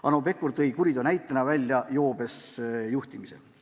Hanno Pevkur tõi kuriteo näitena välja joobes juhtimise.